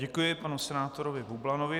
Děkuji panu senátorovi Bublanovi.